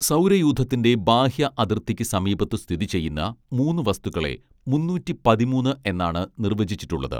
സൗരയൂഥത്തിൻറെ ബാഹ്യ അതിർത്തിക്ക് സമീപത്ത് സ്ഥിതി ചെയ്യുന്ന മൂന്ന് വസ്തുക്കളെ മൂന്നൂറ്റി പതിമൂന്ന് എന്നാണ് നിർവചിച്ചിട്ടുള്ളത്